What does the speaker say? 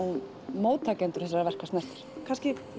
móttakendur þessara verka snertir kannski